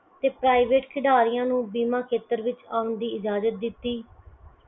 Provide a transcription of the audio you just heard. ਤੇ private ਖਿਡਾਰੀਆਂ ਨੂੰ ਬੀਮਾ ਖੇਤਰ ਵਿੱਚ ਆਉਣ ਦੀ ਇਜਾਜ਼ਤ ਦਿੱਤੀ।